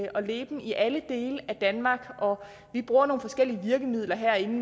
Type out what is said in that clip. og leben i alle dele af danmark og vi bruger nogle forskellige virkemidler herinde